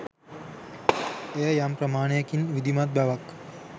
එය යම් ප්‍රමාණයකින් විධිමත් බවක්